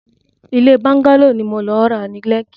Ilé bọ́ńgálò ni mò ń lọ ra ni Lekki.